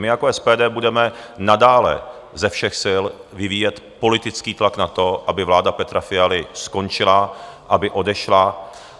My jako SPD budeme nadále ze všech sil vyvíjet politický tlak na to, aby vláda Petra Fialy skončila, aby odešla.